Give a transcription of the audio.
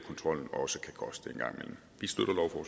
også